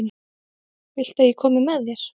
Viltu að ég komi með þér?